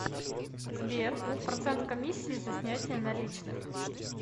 сбер процент комиссии за снятие наличных